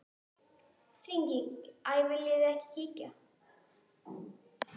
Hringing: Æi viljiði ekki kíkja?